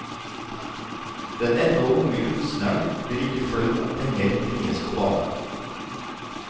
Den ennå unge kunstneren blir ikke flau om penger bringes på bane.